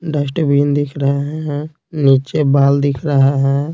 Dustbin दिख रहे है नीचे बाल दिख रहा है।